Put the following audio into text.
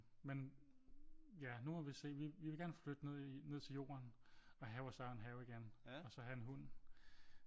Men ja nu må vi se vi vil gerne flytte ned til jorden og have vores egen have igen og så have en hund